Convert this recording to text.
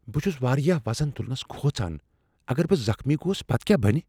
بہٕ چھس واریاہ وزن تُلنس کھوژان۔ اگر بہٕ زخمی گوس پتہٕ کیا بَنِہ؟